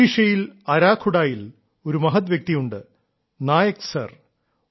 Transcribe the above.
ഒഡീഷയിൽ അരാഖുഡായിൽ ഒരു മഹദ് വ്യക്തിയുണ്ട് നായക് സർ